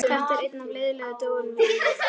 Þetta er einn af leiðinlegu dögunum í vinnunni.